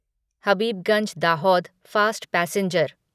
Habibganj Dahod fast passenger